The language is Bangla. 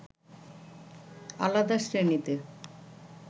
আলাদা শ্রেণীতে